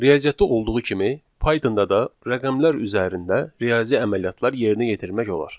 Riyaziyyatda olduğu kimi Pythonda da rəqəmlər üzərində riyazi əməliyyatlar yerinə yetirmək olar.